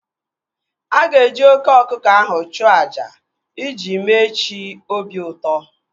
A ga-eji oké ọkụkọ ahụ chụọ àjà iji mee chi obi ụtọ